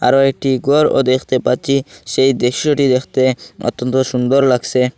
আরও একটি ঘরও দেখতে পাচ্ছি সেই দৃশ্যটি দেখতে অত্যন্ত সুন্দর লাগসে।